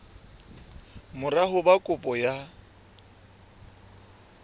mora ho ba kopo ya